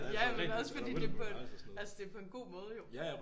Ja men også fordi det er på en altså det er på en god måde jo